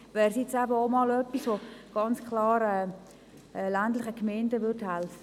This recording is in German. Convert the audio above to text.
Deshalb wäre es etwas, das ländlichen Gemeinden hälfe.